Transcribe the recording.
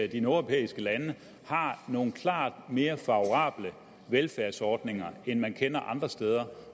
de nordeuropæiske lande har nogle klart mere favorable velfærdsordninger end man kender andre steder